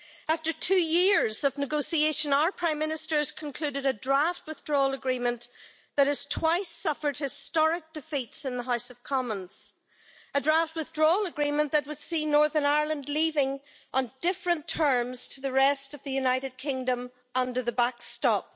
After two years of negotiation, our Prime Minister has concluded a draft withdrawal agreement that has twice suffered historic defeats in the House of Commons a draft withdrawal agreement that would see Northern Ireland leaving on different terms to the rest of the United Kingdom under the backstop